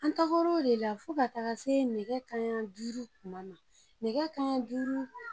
An tagal'o de la fo ka taga se nɛgɛ kan ɲa duuru tuma na, nɛgɛ kan ɲan duuru.